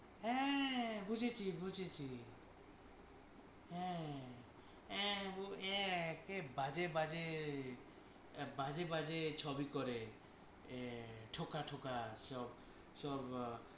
হ্যাঁ বুঝেছি বুঝেছি হ্যাঁ কি বাজে বাজে বাজে বাজে ছবি করে আহ ঠোঁকা ঠোঁকা সব